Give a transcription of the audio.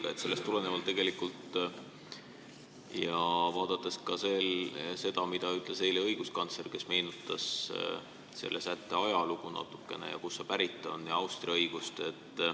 Küsin sellest tulenevalt ja arvestades ka seda, mida ütles eile õiguskantsler, kes meenutas natukene selle sätte ajalugu, seda, kust see pärit on, ja Austria õigust.